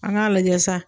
An k'a lajɛ sa